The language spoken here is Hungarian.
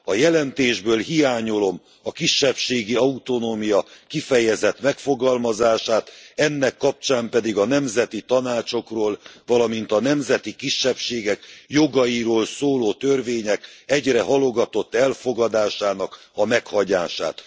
A jelentésből hiányolom a kisebbségi autonómia kifejezett megfogalmazását, ennek kapcsán pedig a nemzeti tanácsokról, valamint a nemzeti kisebbségek jogairól szóló törvények egyre halogatott elfogadásának a meghagyását.